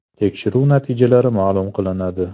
Tekshiruv natijalari ma’lum qilinadi.